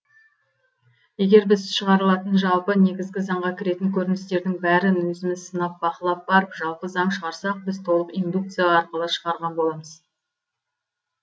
егер біз шыңғарылататын жалпы негізгі заңға шығарылатын кіретін көріністердің бәрін өзіміз сынап бақылап барып жалпы заң шығарсақ біз толық индукция арқылы шығарған боламыз